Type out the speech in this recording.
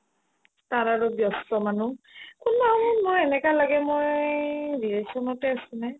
তাৰ আৰু ব্যস্ত মানুহ কোনবাদিনত এনেকা লাগে মই relation তে আছো নে